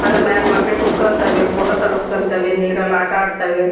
ಅದ್ರ ಮ್ಯಾಲ್ ಮಕ್ಳ್ ಕೂತ್ಕೊಂತವೆ ಫೋಟೋ ತಗಸ್ಕೊನ್ತವೆ ನೀರಲ್ ಆಟಾಡ್ತವೆ.